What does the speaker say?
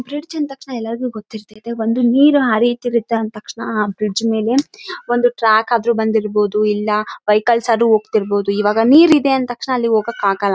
ಇದನ್ನು ನಾವು ಸೇತುವೆ ಅಂತ ಕರಿತ್ತೇವೆ ಇದನ್ನು ಯಾಕೆ ನಿರ್ಮಿಸ್ತಾರೆ ಅಂತ ಅಂದ್ರೆ ಅಕಸ್ಮಾತ್ ಏನಾದರೂ ಆಮ್ ಎಲ್ಲಾದರೂ ನೀರು ನದಿ ಇತ್ತು ಅಂತ ಅಂದ್ರೆ--